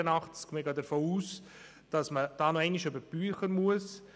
Wir gehen davon aus, dass man hier nochmals über die Bücher gehen muss.